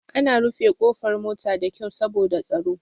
Ana rufe ƙofar mota da kyau saboda tsaro.